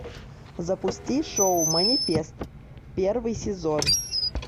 запусти шоу манифест первый сезон